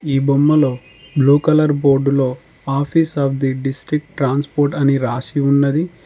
ఈ బొమ్మలో blue colour బోర్డులో office of the district transport అని రాసి ఉన్నది.